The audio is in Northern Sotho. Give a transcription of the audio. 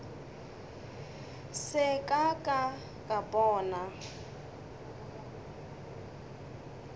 se ka ka ka bona